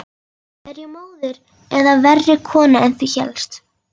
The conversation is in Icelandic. Er ég móðir eða verri kona en þú hélst?